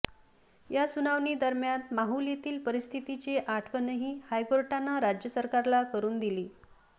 या सुनावणीदरम्यान माहुल येथील परिस्थितीची आठवणही हायकोर्टानं राज्य सरकारला करुन दिली